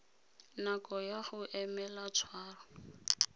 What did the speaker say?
nako ya go emela tshwaro